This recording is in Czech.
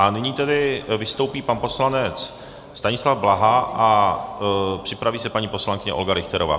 A nyní tedy vystoupí pan poslanec Stanislav Blaha a připraví se paní poslankyně Olga Richterová.